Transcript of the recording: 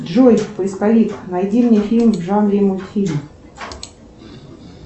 джой поисковик найди мне фильм в жанре мультфильм